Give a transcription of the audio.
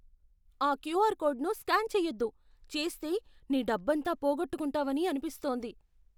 ఆ క్యూఆర్ కోడ్ను స్కాన్ చేయొద్దు. చేస్తే, నీ డబ్బంతా పోగొట్టుకుంటావని అనిపిస్తోంది.